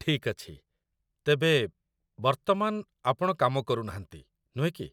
ଠିକ୍ ଅଛି। ତେବେ, ବର୍ତ୍ତମାନ, ଆପଣ କାମ କରୁନାହାନ୍ତି, ନୁହେଁ କି?